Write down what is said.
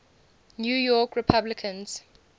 new york republicans